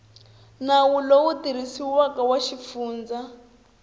nawu lowu tirhisiwaka wa xifundza